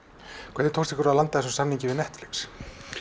hvernig tókst ykkur að landa þessum samningi við Netflix